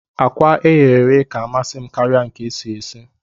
Akwa eghe eghe ka amasim karia nke esi esi